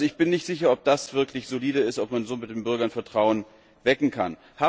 Ich bin nicht sicher, ob das wirklich solide ist, ob man so bei den Bürgern Vertrauen wecken kann.